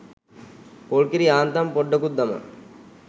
පොල් කිරි යාන්තම් පොඩ්ඩකුත් දමා